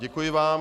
Děkuji vám.